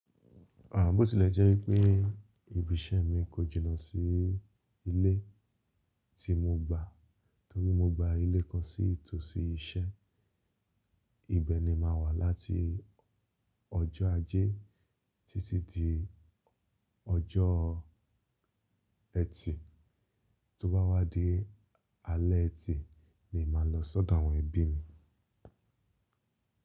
À bo tìlẹ́ jẹ́ wípé ibi iṣẹ́ mi kọ jìnà sí ilé tí mo gba, torí mo gba ilé kan sí ìtòsí iṣẹ́. Ibẹ̀ ni màá wà láti ọjọ́ ajé títí di ọjọ́ ẹtì. Tóbá wá dé alẹ́ ẹtì ni màá lọ sọ́dọ̀ àwọn ẹbí mi.